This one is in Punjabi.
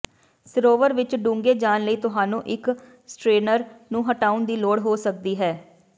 ਸਰੋਵਰ ਵਿੱਚ ਡੂੰਘੇ ਜਾਣ ਲਈ ਤੁਹਾਨੂੰ ਇੱਕ ਸਟਰੇਨਰ ਨੂੰ ਹਟਾਉਣ ਦੀ ਲੋੜ ਹੋ ਸਕਦੀ ਹੈ